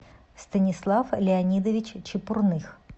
станислав леонидович чепурных